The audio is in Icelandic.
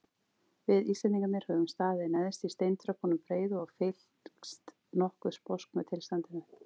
Við Íslendingarnir höfum staðið neðst í steintröppunum breiðu og fylgst nokkuð sposk með tilstandinu.